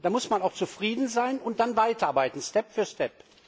Da muss man auch zufrieden sein und dann weiterarbeiten Step by Step.